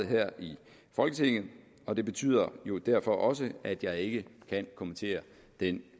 her i folketinget og det betyder jo derfor også at jeg ikke kan kommentere den